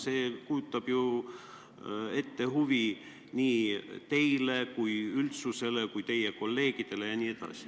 See kujutab endast ju huvi nii teile, üldsusele kui ka teie kolleegidele jne.